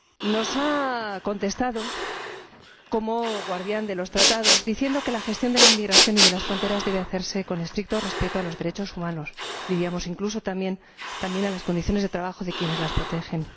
Nos ha contestado —como guardián de los Tratados— diciendo que la gestión de la inmigración y de las fronteras debe hacerse con estricto respeto de los derechos humanos y, diríamos —incluso— también, de las condiciones de trabajo de quienes las protegen.